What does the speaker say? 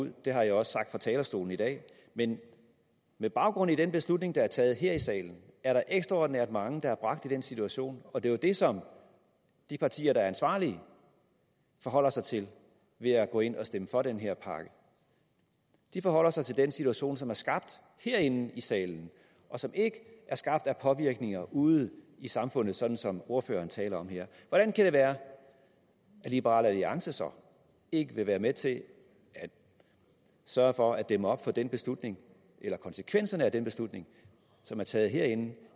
ud det har jeg også sagt fra talerstolen i dag men med baggrund i den beslutning der er taget her i salen er der ekstraordinært mange der er bragt i den situation det er det som de partier der er ansvarlige forholder sig til ved at gå ind og stemme for den her pakke de forholder sig til den situation som er skabt herinde i salen og som ikke er skabt af påvirkninger ude i samfundet sådan som ordføreren taler om her hvordan kan det være at liberal alliance så ikke vil være med til at sørge for at dæmme op for den beslutning eller konsekvenserne af den beslutning som er taget herinde